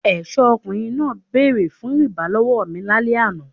Ẹ̀ṣọ́ ọkùnrin náà bẹ̀rẹ̀ fún rìbá lọ́wọ́ mi lálẹ́ àná.